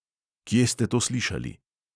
Kje ste to slišali?